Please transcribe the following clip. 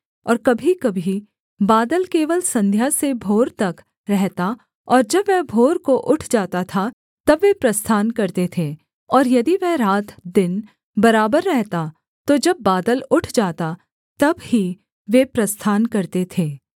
और कभीकभी बादल केवल संध्या से भोर तक रहता और जब वह भोर को उठ जाता था तब वे प्रस्थान करते थे और यदि वह रात दिन बराबर रहता तो जब बादल उठ जाता तब ही वे प्रस्थान करते थे